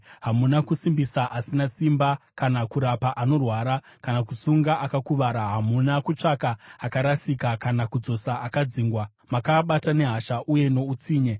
Hamuna kusimbisa asina simba kana kurapa anorwara kana kusunga akakuvara. Hamuna kutsvaka akarasika kana kudzosa akadzingwa. Makaabata nehasha uye noutsinye.